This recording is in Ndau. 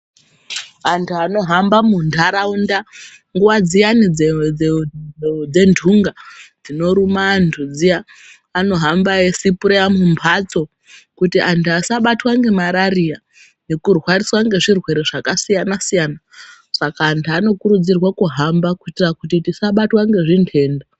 Antu anohamba mundaraunda nguwa dziyani dzemdunga dzinoruma antu dziya anohamba eisapura mumbatso antu asabatwa nemararira nekubatwa nezvirwere zvakasiyana siyana antu anokurudzirwa kuti asabatwa nezvirwere.